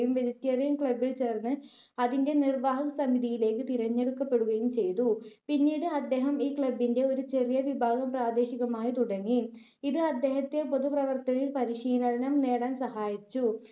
vegetarian club ൽ ചേർന്ന് അതിൻ്റെ നിർവ്വാഹക സമിതിയിലേയ്ക്ക് തിരഞ്ഞെടുക്കപ്പെടുകയും ചെയ്തു. പിന്നീട് അദ്ദേഹം ഈ club ന്റെ ഒരു ചെറിയ വിഭാഗം പ്രാദേശികമായി തുടങ്ങി. ഇത് അദ്ദേഹത്തെ പൊതുപ്രവർത്തനത്തിൽ പരിശീലനം നേടാൻ സഹായിച്ചു.